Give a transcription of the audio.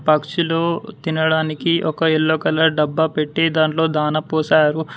పక్షులు తినడానికి ఒక ఎల్లో కలర్ డబ్బా పెట్టి దాంట్లో దాన పోశారు.